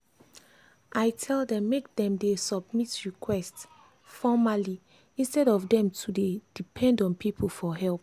i tell dem make dem submit request formerly instead of dem to dey depend on people for help. for help.